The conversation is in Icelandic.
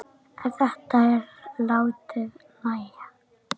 En þetta er látið nægja.